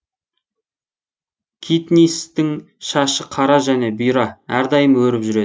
китнисстің шашы қара және бұйра әрдайым өріп жүреді